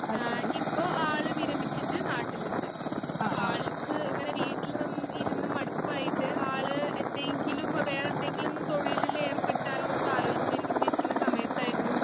ഏഹ് ഇപ്പോ ആള് വിരമിച്ചിട്ട് നാട്ടിലുണ്ട് അപ്പോ ആൾക്ക് ഇങ്ങനെ വീട്ടില് നി ഇരുന്ന് മടുപ്പായിട്ട് ആള് എന്തെങ്കിലും വേറെന്തെങ്കിലും തൊഴിലില് ഏർപ്പെട്ടാലൊന്നോക്കെ ആലോചിച്ചു കൊണ്ടിരിക്കുന്ന സമയത്തായിരുന്നു